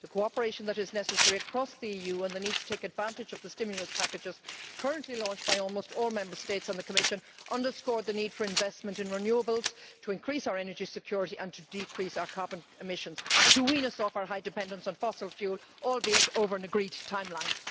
The cooperation that is necessary across the EU, and the need to take advantage of the stimulus packages currently launched by almost all Member States and the Commission, underscore the need for investment in renewables to increase our energy security, to decrease our carbon emissions and to wean us off our high dependence on fossil fuel, albeit over an agreed timeline.